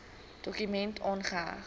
dokument aangeheg